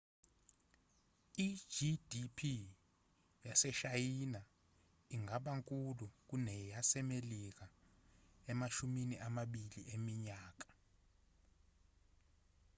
i-gdp yaseshayina ingaba nkulu kuneyasemelika emashumini amabili eminyaka